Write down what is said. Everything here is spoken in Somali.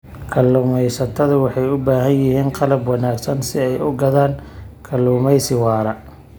Kalluumaysatadu waxay u baahan yihiin qalab wanaagsan si ay u gaadhaan kalluumaysi waara.